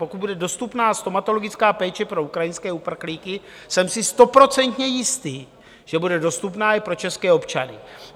Pokud bude dostupná stomatologická péče pro ukrajinské uprchlíky, jsem si stoprocentně jistý, že bude dostupná i pro české občany.